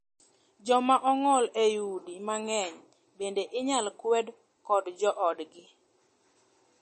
Joma ong'ol ei udi mang'eny bende inyal kwed kod joodgi.